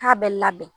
K'a bɛ labɛn